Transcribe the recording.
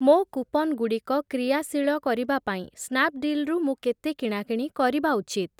ମୋ କୁପନ୍ ଗୁଡ଼ିକ କ୍ରିୟାଶୀଳ କରିବା ପାଇଁ ସ୍ନାପ୍‌ଡୀଲ୍‌ ରୁ ମୁଁ କେତେ କିଣାକିଣି କରିବା ଉଚିତ?